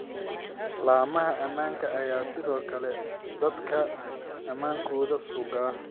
Laamaha ammaanka ayaa sidoo kale dadka ammaankoda sugaa.